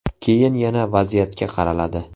Keyin yana vaziyatga qaraladi.